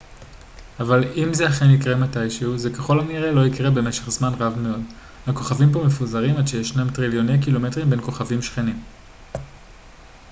אבל אם זה אכן יקרה מתישהו זה ככל הנראה לא יקרה במשך זמן רב מאוד הכוכבים כה מפוזרים עד שישנם טריליוני קילומטרים בין כוכבים שכנים